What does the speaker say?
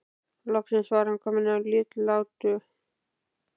Loksins var hann kominn að Litlutá.